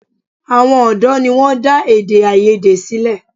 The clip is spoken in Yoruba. Àwọn ọ̀dọ́ ni wọ́n dá èdè-áiyedé yìí sílẹ̀.